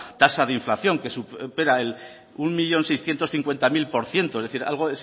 tasa de inflación que supera el mil seiscientos cincuentacero por ciento es decir algo